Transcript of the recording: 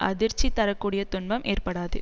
அதிர்ச்சி தர கூடிய துன்பம் ஏற்படாது